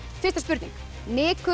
fyrsta spurning